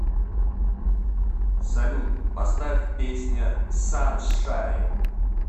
салют поставь песня саншайн